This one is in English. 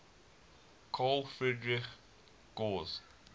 carl friedrich gauss